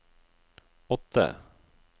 åtte